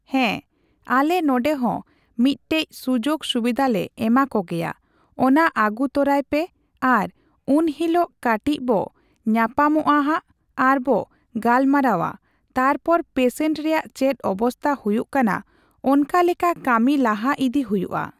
ᱦᱮᱸ ᱟᱞᱮ ᱱᱚᱸᱰᱮ ᱦᱚᱸ ᱢᱤᱜᱴᱮᱡ ᱥᱩᱡᱳᱜᱽ ᱥᱩᱵᱤᱫᱟᱞᱮ ᱮᱢᱟ ᱠᱚᱜᱮᱭᱟ, ᱚᱱᱟ ᱟᱜᱩ ᱛᱚᱨᱟᱭ ᱯᱮ ᱟᱨ ᱩᱱᱦᱤᱞᱚᱜ ᱠᱟᱴᱤᱪ ᱵᱚ ᱧᱟᱧᱯᱟᱢᱚᱜᱼᱟ ᱦᱟᱸᱜ ᱟᱨ ᱵᱚ ᱜᱟᱞᱢᱟᱨᱟᱣᱟ ᱛᱟᱯᱚᱨ ᱯᱮᱥᱮᱱᱴ ᱨᱮᱭᱟᱜ ᱪᱮᱫ ᱚᱵᱚᱥᱛᱟ ᱦᱩᱭᱩᱜ ᱠᱟᱱᱟ ᱚᱱᱠᱟ ᱞᱮᱠᱟ ᱠᱟᱹᱢᱤ ᱞᱟᱦᱟ ᱤᱫᱤ ᱦᱩᱭᱩᱜᱼᱟ ᱾